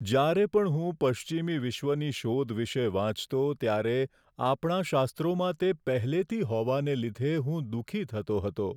જ્યારે પણ હું પશ્ચિમી વિશ્વની "શોધ" વિશે વાંચતો ત્યારે આપણા શાસ્ત્રોમાં તે પહેલેથી હોવાને લીધે હું દુઃખી થતો હતો.